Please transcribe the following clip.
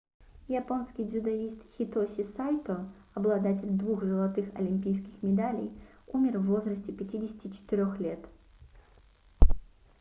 японский дзюдоист хитоси сайто обладатель двух золотых олимпийских медалей умер в возрасте 54 лет